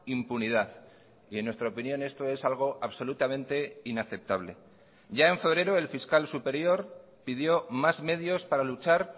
impunidad y en nuestra opinión esto es algo absolutamente inaceptable ya en febrero el fiscal superior pidió más medios para luchar